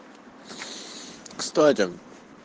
кстати